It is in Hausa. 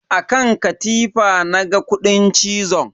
A kan katifa na ga kudin cizon.